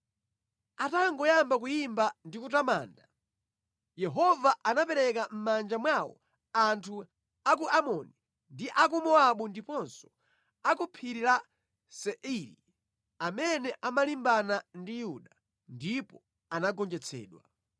Atangoyamba kuyimba ndi kutamanda, Yehova anapereka mʼmanja mwawo anthu a ku Amoni ndi a ku Mowabu ndiponso a ku Phiri la Seiri amene amalimbana ndi Yuda, ndipo anagonjetsedwa.